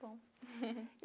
Que bom.